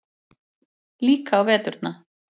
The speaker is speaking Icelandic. Líka á veturna.